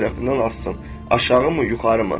onun hansı tərəfindən assın, aşağımı, yuxarı?